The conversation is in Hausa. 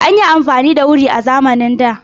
An yi afamani da wuri a zamanin da.